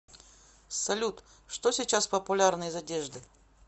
салют что сейчас популярно из одежды